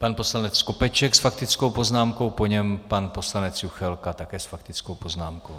Pan poslanec Skopeček s faktickou poznámkou, po něm pan poslanec Juchelka také s faktickou poznámkou.